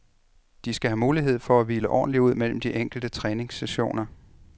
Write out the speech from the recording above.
De skal have mulighed for at hvile ordentligt ud mellem de enkelte træningssessioner.